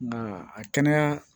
Nga a kɛnɛya